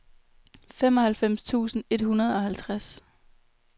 femoghalvfems tusind et hundrede og halvtreds